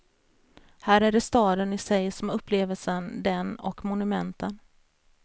Här är det staden i sig som är upplevelsen, den och monumenten.